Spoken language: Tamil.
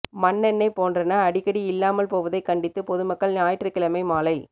மண்ணெண்ணை போன்றன அடிக்கடி இல்லாமல் போவதைக் கண்டித்து பொதுமக்கள் ஞாயிற்றுக் கிழமை மாலை